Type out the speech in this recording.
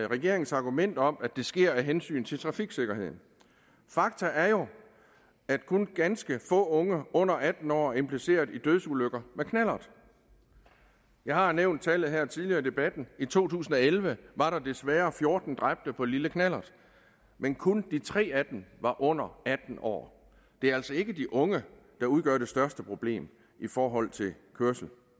regeringens argument om at det sker af hensyn til trafiksikkerheden fakta er jo at kun ganske få unge under atten år er impliceret i dødsulykker med knallert jeg har nævnt tallet her tidligere i debatten i to tusind og elleve var der desværre fjorten dræbte på lille knallert men kun de tre af dem var under atten år det er altså ikke de unge der udgør det største problem i forhold til kørsel